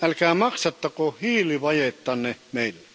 Älkää maksattako hiilivajettanne meillä.